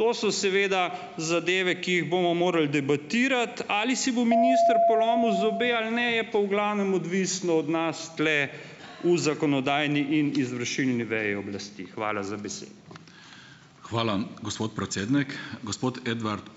To so seveda zadeve, ki jih bomo morali debatirati, ali si bo minister polomil zobe ali ne , je pa v glavnem odvisno od nas tule v zakonodajni in izvršilni veji oblasti. Hvala za besedo. Hvala, gospod predsednik. Gospod Edvard ...